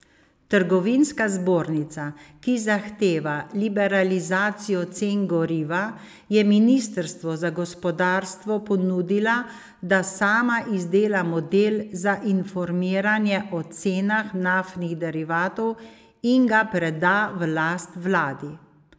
Trgovinska zbornica, ki zahteva liberalizacijo cen goriva, je ministrstvu za gospodarstvo ponudila, da sama izdela model za informiranje o cenah naftnih derivatov in ga preda v last vladi.